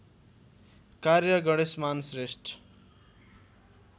कार्य गणेशमान श्रेष्ठ